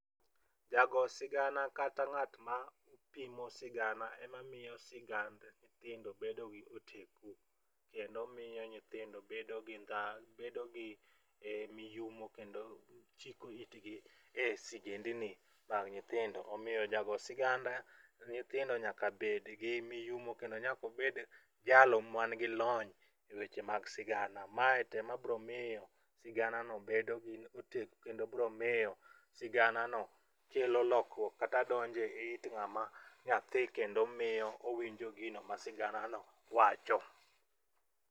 Jago sigana kata ng'at ma pimo sigana ema miyo sigand nyithindo bedo gi oteku kendo miyo nyithindo bedo gi ndha bedo gi miyumo kendo chiko itgi e sigendni mag nyithindo. Omiyo jago sigand nyithindo nyaka bed gi miyumo kata nyaka bed jalo manigi lony e weche mag sigana .Mae tema bro miyo sigana no bedo goteku kendo bro miyo sigana no bedo gi oteku kendo bro miyo sigana no kelo lokruok kata donje it ng'ama nyathi kendo miyo owinjo gino ma sigana no wacho.